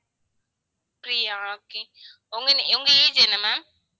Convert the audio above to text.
பிரியா ஆஹ் okay உங்க, உங்க age என்ன ma'am